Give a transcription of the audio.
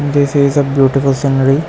This is a beautiful scenery.